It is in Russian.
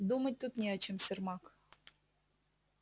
думать тут не о чем сермак